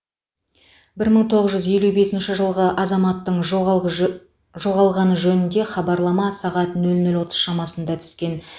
бір мың тоғыз жүз елу бесінші жылғы азаматтың жоғалып жө жоғалғаны жөнінде хабарлама сағат нөл нөл отыз шамасында түскен